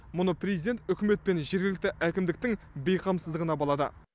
мұны президент үкімет пен жергілікті әкімдіктің бейқамсыздығына балады